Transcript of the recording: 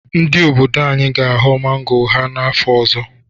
Ndị obodo anyị ga-aghọ mango ha afọ ọzọ.